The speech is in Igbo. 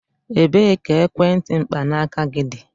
Ebee ka ekwentị mkpanaaka gị dị?